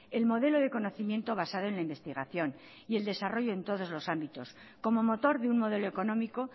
el modelo de conocimiento basado en la investigación y el desarrollo en todos los ámbitos como motor de un modelo económico